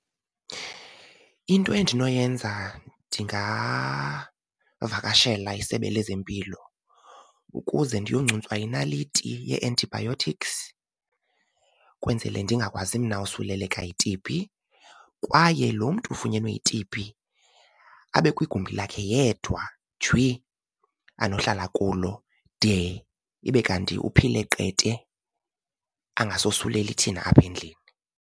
Into endinoyenza ndingavakashela isebe lezempilo ukuze ndiyoncuntswa inaliti yee-antibiotics, kwenzele ndingakwazi mna usuleleka yi-T_B. Kwaye lo mntu ufunyenwe yi-T_B abe kwigumbi lakhe yedwa jwi anohlala kulo de ibe kanti uphile qethe angasosuleli thina apha endlini.